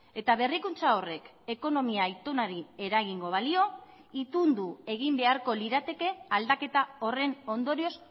eta berrikuntza horrek ekonomia itunari eragingo balio itundu egin beharko lirateke aldaketa horren ondorioz